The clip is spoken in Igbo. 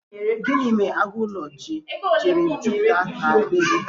Gịnị mere agụ ụlọ jiri jupụta na bee gị?